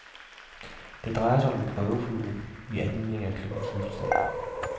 Det drejede sig om en prøveflyvning i anledning af klubbens fødselsdag.